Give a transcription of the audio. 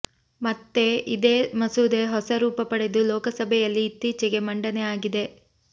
ಮತ್ತೆ ಇದೇ ಮಸೂದೆ ಹೊಸ ರೂಪ ಪಡೆದು ಲೋಕಸಭೆಯಲ್ಲಿ ಇತ್ತೀಚೆಗೆ ಮಂಡನೆ ಆಗಿದೆ